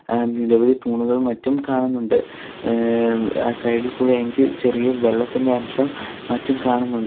ആ നിരവധി തൂണുകളും മറ്റും കാണുന്നുണ്ട് ഏ വ് സൈഡ് ഇൽ കൂടെ എനിക്ക് ചെറിയ വെള്ളത്തിന്റെ അംശം മറ്റും കാണുന്നുണ്ട്.